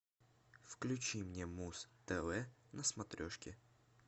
включи мне муз тв на смотрешке